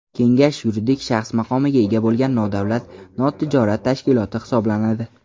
Kengash yuridik shaxs maqomiga ega bo‘lgan nodavlat notijorat tashkiloti hisoblanadi.